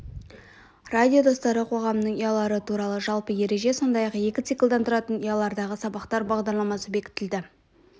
радио достары қоғамының ұялары туралы жалпы ереже сондай-ақ екі циклдан тұратын ұялардағы сабақтар бағдарламасы бекітілді